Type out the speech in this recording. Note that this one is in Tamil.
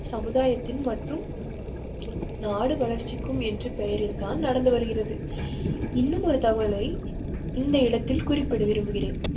சமுதாயத்தில் மட்டும். நாடு வளர்ச்சிக்கும் என்ற பெயரில்தான் நடந்து வருகிறது. இன்னும் ஒரு தகவலை இந்த இடத்தில் குறிப்பிட விரும்புகிறேன்.